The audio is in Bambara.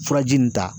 Furaji nin ta